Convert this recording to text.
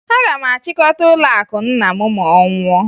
Aga m achịkọta ụlọakụ nna m ma ọ nwụọ